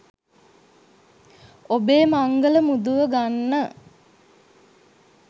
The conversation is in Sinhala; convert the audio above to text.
ඔබෙ මංගල මුදුව ගන්න